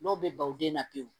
N'o bɛ baw den na pewu